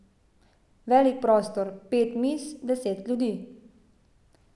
Velik prostor, pet miz, deset ljudi.